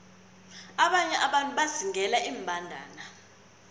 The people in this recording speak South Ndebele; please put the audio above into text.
abanye abantu bazingela iimbandana